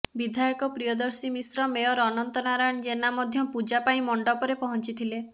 ବିଧାୟକ ପ୍ରିୟଦର୍ଶୀ ମିଶ୍ର ମେୟର ଅନନ୍ତ ନାରାୟଣ ଜେନା ମଧ୍ୟ ପୂଜା ପାଇଁ ମଣ୍ଡପରେ ପହଞ୍ଚିଥିଲେ